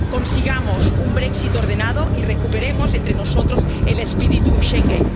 Consigamos un Brexit ordenado y recuperemos entre nosotros el espíritu de Schengen.